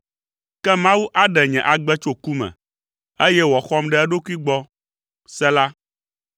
Ke Mawu aɖe nye agbe tso ku me, eye wòaxɔm ɖe eɖokui gbɔ. Sela